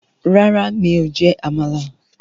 Rárá, mi ò jẹ́ Àmàlà